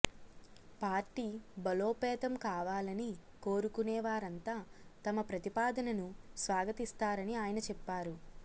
party బలోపేతం కావాలని కోరుకొనే వారంతా తమ ప్రతిపాదనను స్వాగతిస్తారని ఆయన చెప్పారు